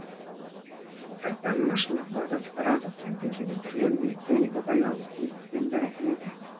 сырттан машина құрал жабдықтар азық түліктің кейбір түрлерін электроника байланыс тұрмыстық бұйымдар әкеледі